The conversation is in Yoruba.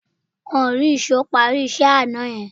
Wọ́n ò rí èṣó parí iṣẹ́ àná yẹn